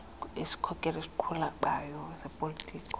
wesikhokelo esiqhubayo sezopolitiko